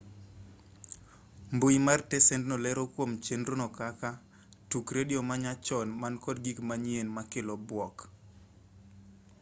mbui mar tesendno lero kuom chenro no kaka tuk redio ma nyachon man kod gik manyien ma kelo buok